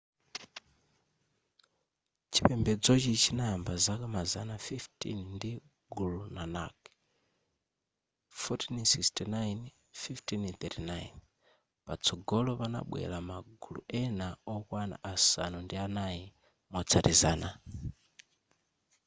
chipembedzochi chinayamba zaka mazana 15 ndi guru nanak 1469-1539. patsogolo panabwera ma guru ena okwana asanu ndi anayi motsatizana